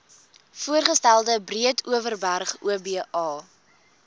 voorgestelde breedeoverberg oba